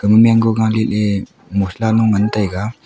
ama mango galey ley mosala lo ngantaiga.